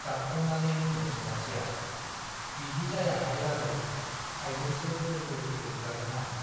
गाबफ्रामनानै बुङो सनाथिया , बिदि जायाहाय बाजै, आइजोंसो दोखो दोखो बुजागोन आं ।'